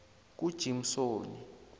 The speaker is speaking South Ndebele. kujimsoni